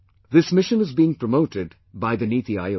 This Mission is being promoted by the Niti Aayog